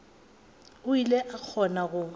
o ile a kgona go